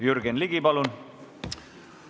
Jürgen Ligi, palun!